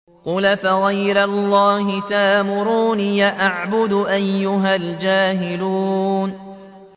قُلْ أَفَغَيْرَ اللَّهِ تَأْمُرُونِّي أَعْبُدُ أَيُّهَا الْجَاهِلُونَ